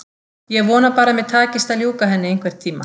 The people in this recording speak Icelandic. Ég vona bara að mér takist að ljúka henni einhvern tíma.